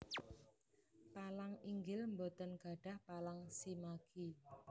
Palang inggil boten gadhah palang shimagi